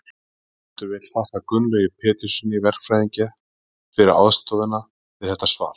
Höfundur vill þakka Gunnlaugi Péturssyni verkfræðingi fyrir aðstoð við þetta svar.